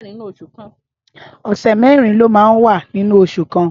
Ọsẹ mèrin ló mà n wà ninú óṣù kàn